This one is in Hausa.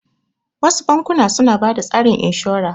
Wasu bankuna suna bada tsarin inshora